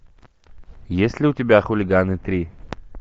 есть ли у тебя хулиганы три